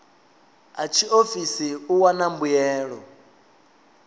a tshiofisi u wana mbuelo